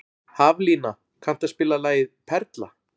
Haflína, kanntu að spila lagið „Perla“?